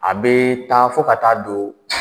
A be taa fo ka taa don